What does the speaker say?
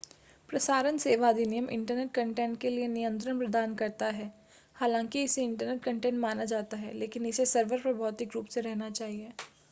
प्रसारण सेवा अधिनियम इंटरनेट कंटेंट के लिए नियंत्रण प्रदान करता है हालांकि इसे इंटरनेट कंटेंट माना जाता है लेकिन इसे सर्वर पर भौतिक रूप से रहना चाहिए